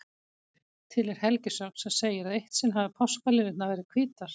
Til er helgisögn sem segir að eitt sinn hafi páskaliljurnar verið hvítar.